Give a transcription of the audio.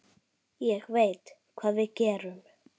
Ég veit hvað við gerum!